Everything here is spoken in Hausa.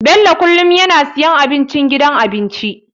Bello kullum yana siyan abincin gidan abinci.